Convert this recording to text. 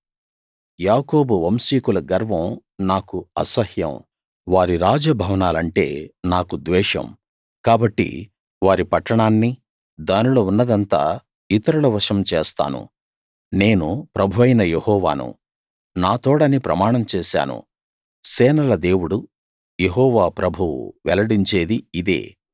యాకోబు వంశీకుల గర్వం నాకు అసహ్యం వారి రాజ భవనాలంటే నాకు ద్వేషం కాబట్టి వారి పట్టణాన్ని దానిలో ఉన్నదంతా ఇతరుల వశం చేస్తాను నేను ప్రభువైన యెహోవాను నా తోడని ప్రమాణం చేశాను సేనల దేవుడు యెహోవా ప్రభువు వెల్లడించేది ఇదే